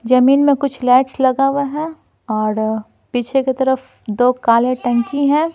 जमीन में कुछ लाइट्स लगा हुआ है और पीछे की तरफ दो काले टंकी हैं।